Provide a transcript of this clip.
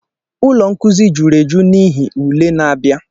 ụlọ nkuzi juru eju n'ihi ule na-abịa